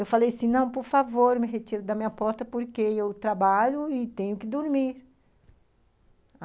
Eu falei assim, não, por favor, me retire da minha porta, porque eu trabalho e tenho que dormir.